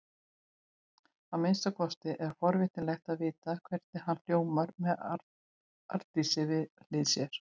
Að minnsta kosti er forvitnilegt að vita hvernig hann hljómar með Arndísi við hlið sér.